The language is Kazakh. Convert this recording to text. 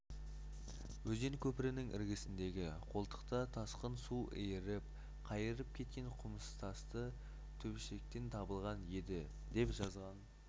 өзен көпірінің іргесіндегі қолтықта тасқын су иіріп қайырып кеткен құмтасты төбешіктен табылған еді деп жазған